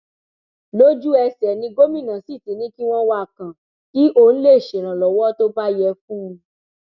lójúẹsẹ ni gómìnà sì ti ní kí wọn wá a kàn kí ọn lè ṣèrànlọwọ tó bá yẹ fún un